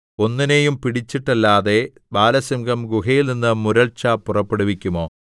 ഒന്നിനെയും പിടിച്ചിട്ടല്ലാതെ ബാലസിംഹം ഗുഹയിൽനിന്ന് മുരൾച്ച പുറപ്പെടുവിക്കുമോ